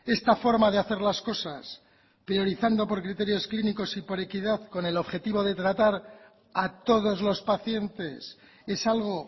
esta forma de hacer las cosas priorizando por criterios clínicos y con equidad con el objetivo de tratar a todos los pacientes es algo